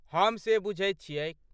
हम से बुझैत छियैक।